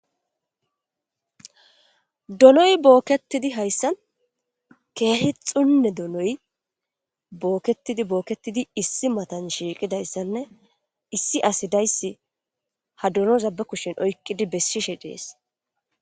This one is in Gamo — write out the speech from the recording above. Donoyi bookettidi haysan keehi daro donoyi, bookettidi bookettidi issi matan shiikida issanne issi asi dassi ha dononza ba kushshen oykkidi beshishee dees.